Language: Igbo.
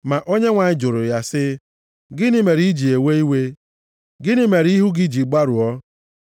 Ma Onyenwe anyị jụrụ ya sị, “Gịnị mere i ji ewe iwe? Gịnị mere ihu gị ji gbarụọ?